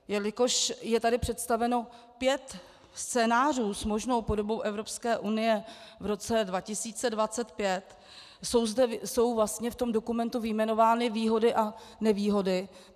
Jelikož je tady představeno pět scénářů s možnou podobou Evropské unie v roce 2025, jsou vlastně v tom dokumentu vyjmenovány výhody a nevýhody.